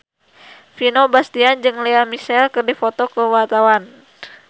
Vino Bastian jeung Lea Michele keur dipoto ku wartawan